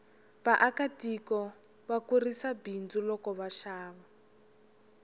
vaaka tiko va kurisa bindzu loko va xava